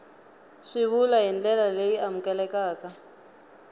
swivulwa hi ndlela leyi amukelekaka